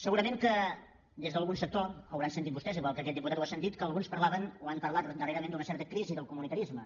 segurament que des d’algun sector deuen haver sentit vostès igual que aquest diputat ho ha sentit que alguns parlaven o han parlat darrerament d’una certa crisi del comunitarisme